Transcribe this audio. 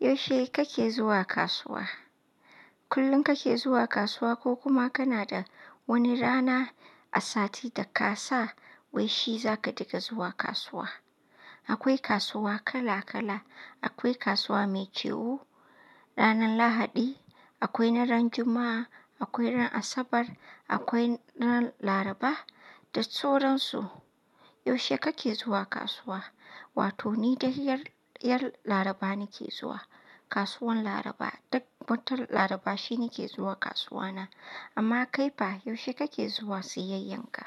Yaushe kake zuwa kasuwa? Kullum kake zuwa kasuwa ko kuma kana da wani rana a sati da ka sa wai shi za ka dinga zuwa kasuwa. Akwai kasuwa kala kala. Akwai kasuwa mai ciwo ranar Lahadi, akwai na ran Juma'a, akwai ran Asabar, akwai ran Laraba da sauran su. Yaushe kake zuwa kasuwa? Wato ni dai ran Laraba nake zuwa kasuwan Laraba. Duk wata Laraba shi nake zuwa kasuwa na. Amma kai fa, yaushe kake zuwa siyayyan ka?